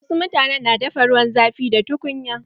Wasu mutanen na dafa ruwan zafi da tukunya.